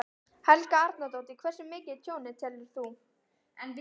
Helga Arnardóttir: Hversu mikið er tjónið, telur þú?